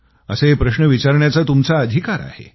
असे प्रश्न विचारण्याचा तुमचा अधिकार आहे